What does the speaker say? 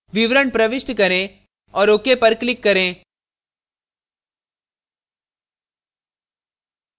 विवरण प्रविष्ट करें और ok पर click करें